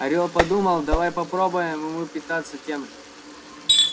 орёл подумал давай попробуем мы питаться тем же